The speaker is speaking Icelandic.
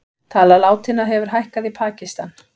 Tala látinna hefur hækkað í Pakistan